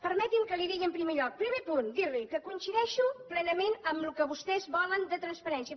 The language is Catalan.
permeti’m que li digui en primer lloc primer punt dir li que coincideixo plenament amb el que vostès volen de transparència